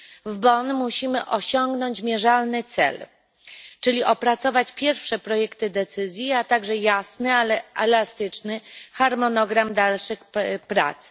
W Bonn musimy osiągnąć mierzalny cel, czyli opracować pierwsze projekty decyzji, a także jasny, ale i elastyczny harmonogram dalszych prac.